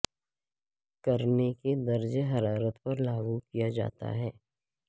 کرنے کے درجہ حرارت پر لاگو کیا جاتا ہے